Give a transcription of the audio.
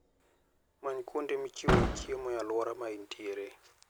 Many kuonde michiwe chiemo e alwora ma intiere.